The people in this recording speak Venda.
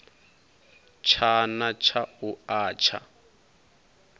tshana tsha u a tsha